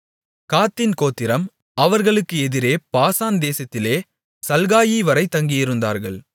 காத்தின் கோத்திரம் அவர்களுக்கு எதிரே பாசான் தேசத்திலே சல்காயிவரை தங்கியிருந்தார்கள்